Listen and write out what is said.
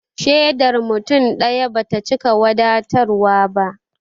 Shaidar mutum ɗaya bata cika wadatarwa ba